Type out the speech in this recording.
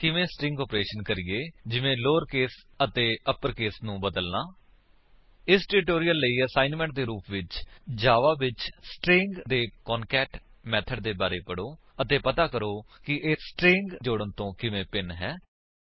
ਅਤੇ ਕਿਵੇਂ string operation ਕਰੀਏ ਜਿਵੇਂ ਲੋਉਰੇਕਸ ਅਤੇ ਅਪਰਕੇਸ ਨੂੰ ਬਦਲਨਾ ਇਸ ਟਿਊਟੋਰਿਅਲ ਲਈ ਅਸਾਇਨਮੈਂਟ ਦੇ ਰੂਪ ਵਿੱਚ ਜਾਵਾ ਵਿੱਚ ਸਟਰਿੰਗ ਦੇ ਕਾਨਕੈਟ ਮੇਥਡ ਦੇ ਬਾਰੇ ਪੜੋ ਅਤੇ ਪਤਾ ਕਰੋ ਕਿ ਇਹ ਸਟਰਿੰਗ ਜੋੜਨ ਤੋਂ ਕਿਵੇਂ ਭਿੰਨ ਹੈ